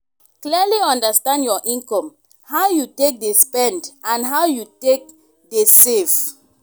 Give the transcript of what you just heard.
clearly understand your income how you take dey spend and how you take dey save